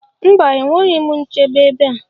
Mba enweghị m nchebe ebea